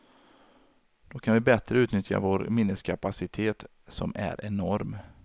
Då kan vi bättre utnyttja vår minneskapacitet, som är enorm.